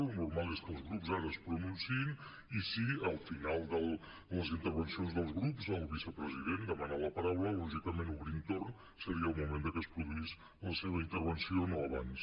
lo normal és que els grups ara es pronunciïn i si al final de les intervencions dels grups el vicepresident demana la paraula lògicament obrint torn seria el moment de que es produís la seva intervenció no abans